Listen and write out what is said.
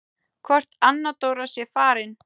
Hvort Anna Dóra sé farin.